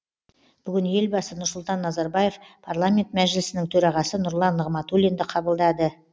бүгін елбасы нұрсұлтан назарбаев парламент мәжілісінің төрағасы нұрлан нығматулинді қабылдады